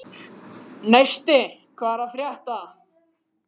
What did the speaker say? Neisti, hvað er að frétta?